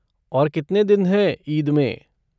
और कितने दिन हैं ईद में?